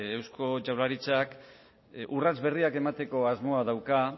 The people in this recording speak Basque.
eusko jaurlaritzak urrats berriak emateko asmoa dauka